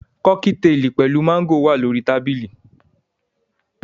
Kọ́kítelì pẹ̀lú máńgò wà lórí tábìlì